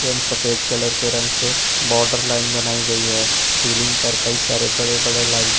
एवं सफेद कलर के रंग से बॉर्डर लाइन बनाई गई है सीलिंग पर कई सारे बड़े बड़े लाइट --